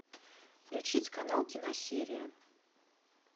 включить канал киносерия